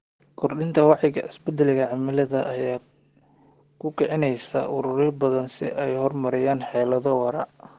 Kordhinta wacyiga isbeddelka cimilada ayaa ku kicinaysa ururo badan si ay u horumariyaan xeelado waara.